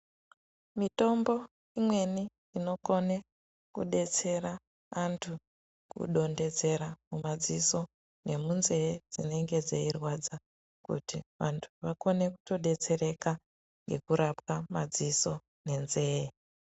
Mitombo imweni inokone kudetsera antu ku dondedzera mu madziso ne munze dzinenge dzei rwadza kuti vantu vakone kuto detsereka ngeku rapwa madziso ne nzee.